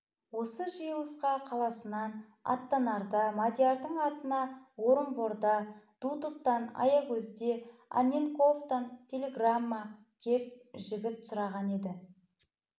осы жиылысқа қаласынан аттанарда мадиярдың атына орынборда дутовтан аягөзде анненковтан телеграмма кеп жігіт сұраған еді